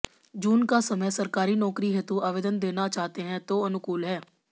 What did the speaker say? जून का समय सरकारी नौकरी हेतू आवेदन देना चाहते हैं तो अनुकूल है